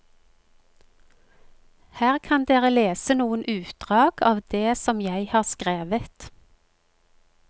Her kan dere lese noen utdrag av det som jeg har skrevet.